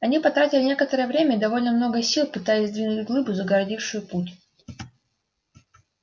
они потратили некоторое время и довольно много сил пытаясь сдвинуть глыбу загородившую путь